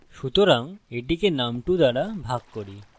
সুতরাং এটিকে num2 দ্বারা ভাগ করি